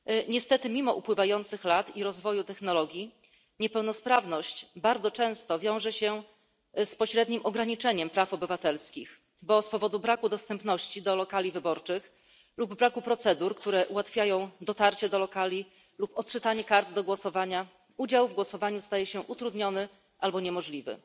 Niestety mimo upływających lat i rozwoju technologii niepełnosprawność bardzo często wiąże się z pośrednim ograniczeniem praw obywatelskich, bo z powodu braku dostępności do lokali wyborczych lub braku procedur, które ułatwiają dotarcie do lokali lub odczytanie kart do głosowania, udział w głosowaniu staje się utrudniony albo niemożliwy.